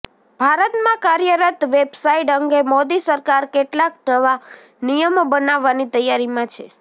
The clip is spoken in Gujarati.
ભારતમાં કાર્યરત વેબસાઈટ અંગે મોદી સરકાર કેટલાક નવા નિયમો બનાવવાની તૈયારીમાં છે